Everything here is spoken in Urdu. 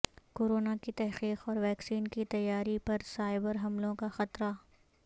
کورونا کی تحقیق اور ویکسین کی تیاری پر سائبر حملوں کا خطرہ